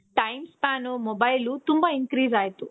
time span mobile ತುಂಬಾ increase ಆಯ್ತು.